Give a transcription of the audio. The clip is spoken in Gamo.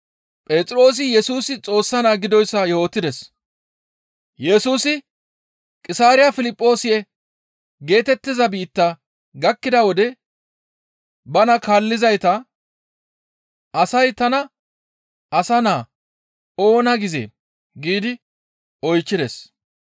Yesusi Qisaariya Piliphisiyoose geetettiza biitta gakkida wode bana kaallizayta, «Asay tana Asa Naa oona gizee?» giidi oychchides.